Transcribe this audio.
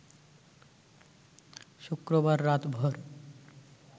শুক্রবার রাতভর